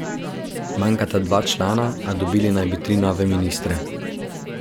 Manjkata dva člana, a dobili naj bi tri nove ministre.